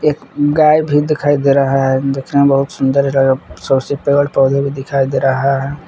एक गाय भी दिखाई दे रहा है देखने में बहुत सुंदर है पेड़ पौधे भी दिखाई दे रहा है।